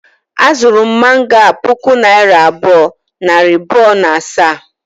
A zuru m mango a puku naira abụọ, nari bụọ, na asaa